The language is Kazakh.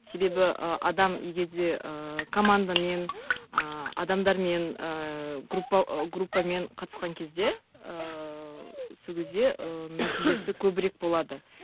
себебі ы адам егер де ыыы командамен ыыы адамдармен ыыы группа группамен қатысқан кезде ыыы сол кезде ы нәтижесі көбірек болады